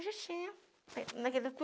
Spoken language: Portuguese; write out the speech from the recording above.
Eu já tinha. Naquilo tudo